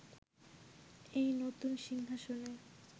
এই নতুন সিংহাসনে